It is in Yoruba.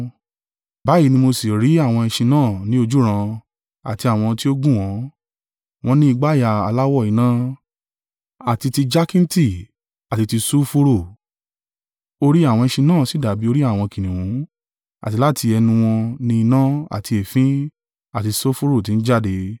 Báyìí ni mo sì rí àwọn ẹṣin náà ní ojúran, àti àwọn tí o gùn wọ́n, wọ́n ni ìgbàyà aláwọ̀ iná, àti ti jakinti, àti ti sulfuru, orí àwọn ẹṣin náà sì dàbí orí àwọn kìnnìún; àti láti ẹnu wọn ni iná, àti èéfín, àti sulfuru tí ń jáde.